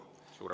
Suurepärane!